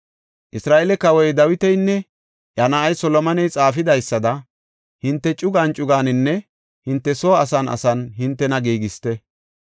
Isra7eele kawoy Dawitinne iya na7ay Solomoney xaafidaysada hinte cugan cuganinne hinte soo asan asan hintena giigisite.